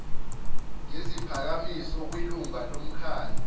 ngeziphakamiso kwilungu lomkhandlu